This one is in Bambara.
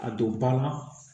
A don ba la